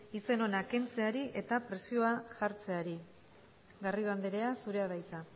izen ona kentzeari eta presioa jartzeari buruz garrido andrea zurea da hitza